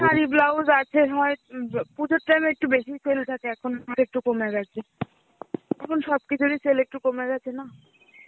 Sari blouse আছে হয়, উম মানে পুজোর টাইমে একটু বেশি sell থাকে এখন আর একটু কমে গেছে এখন সব কিছুরই sell একটু কমে গেছে না.